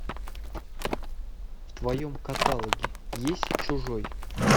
в твоем каталоге есть чужой